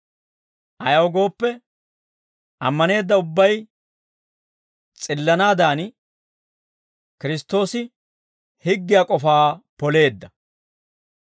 Ayaw gooppe, ammaneedda ubbay s'illanaadan, Kiristtoosi higgiyaa k'ofaa poleedda.